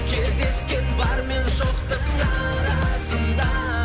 кездескен бар мен жоқтың арасында